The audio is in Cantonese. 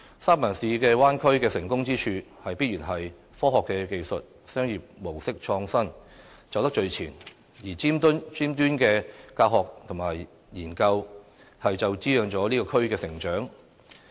三藩市灣區的成功之處，必然是科學技術、商業模式創新，走得最前；而頂尖的教學與研究，便滋養了這個區的成長。